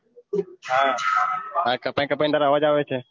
હા હ કપાય કપાય તાર આવજ આવે છે